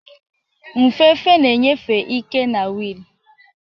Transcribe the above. Nfefe na-enyefe ike na wiil.